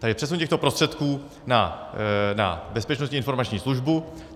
Takže přesun těchto prostředků na Bezpečnostní informační službu.